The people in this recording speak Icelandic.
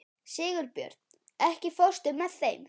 Sigurbjörn, ekki fórstu með þeim?